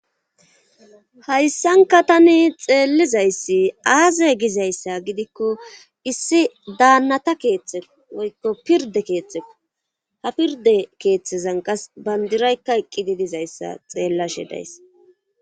Hayssankka tani xeellizayssi aaze gizayssa gidikko issi daanata keeththe woykko pirde keeththekko ha pirde keeththezan kase bandiraykka eqqidi dizayssa xeellashe dayss